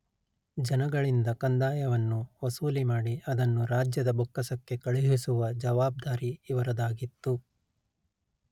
ಜನಗಳಿಂದ ಕಂದಾಯವನ್ನು ವಸೂಲಿ ಮಾಡಿ ಅದನ್ನು ರಾಜ್ಯದ ಬೊಕ್ಕಸಕ್ಕೆ ಕಳುಹಿಸುವ ಜವಾಬ್ದಾರಿ ಇವರದಾಗಿತ್ತು